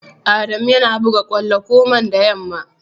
Adamu yana buga kwallo komanda yamma.